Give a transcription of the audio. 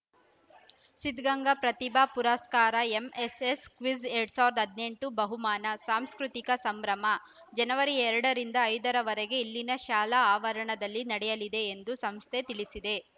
ಸಿದ್ಧಗಂಗಾ ಪ್ರತಿಭಾ ಪುರಸ್ಕಾರ MSS quiz ಎರಡ್ ಸಾವಿರದ ಹದಿನೆಂಟು ಬಹುಮಾನ ಸಾಂಸ್ಕೃತಿಕ ಸಂಭ್ರಮ ಜನವರಿ ಎರಡ ರಿಂದ ಐದ ರವರೆಗೆ ಇಲ್ಲಿನ ಶಾಲಾವರಣದಲ್ಲಿ ನಡೆಯಲಿದೆ ಎಂದು ಸಂಸ್ಥೆ ತಿಳಿಸಿದೆ